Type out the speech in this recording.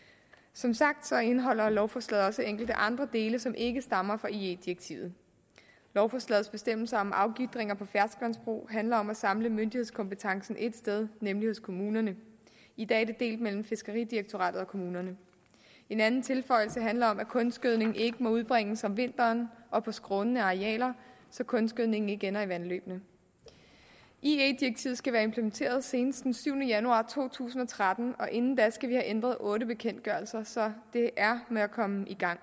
som sagt indeholder lovforslaget også enkelte andre dele som ikke stammer fra ie direktivet lovforslagets bestemmelser om afgitringer på ferskvandsbrug handler om at samle myndighedskompetencen et sted nemlig hos kommunerne i dag er den delt mellem fiskeridirektoratet og kommunerne en anden tilføjelse handler om at kunstgødning ikke må udbringes om vinteren og på skrånende arealer så kunstgødningen ikke ender i vandløbene ie direktivet skal være implementeret senest den syvende januar to tusind og tretten og inden da skal vi have ændret otte bekendtgørelser så det er med at komme i gang